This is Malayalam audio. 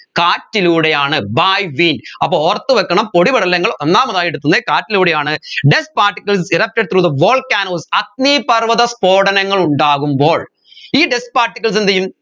കാറ്റിലൂടെയാണ് by wind അപ്പോ ഓർത്തുവെക്കണം പൊടിപടലങ്ങൾ ഒന്നാമതായിട്ട് എത്തുന്നത് കാറ്റിലൂടെയാണ് dust particles erupted through the volcanos അഗ്നിപർവ്വത സ്ഫോടനങ്ങൾ ഉണ്ടാകുമപ്പോൾ ഈ dust particles എന്ത് ചെയ്യും